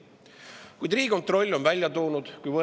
Kuid Riigikontroll on välja toonud hoopis äraspidise.